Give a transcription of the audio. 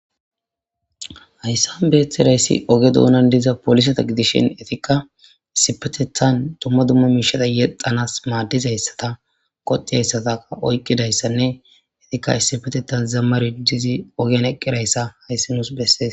Hayssan beeththidayssi oge doonan diza polisata gidishin etikka issipetethan dumma dumma miishata yexanas maaddizayssata qoti hayssataa oyqqidayssanne etikka issifetetha zammari dizi ogean eqqirayssa hayssi nuus bessees.